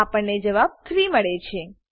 આપણને જવાબ 3 મળે છે